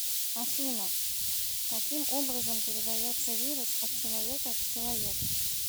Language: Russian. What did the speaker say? афина каким образом передается вирус от человека к человеку